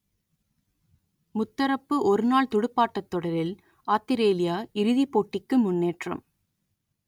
முத்தரப்பு ஒருநாள் துடுப்பாட்டத் தொடரில் ஆத்திரேலியா இறுதிப் போட்டிக்கு முன்னேற்றம்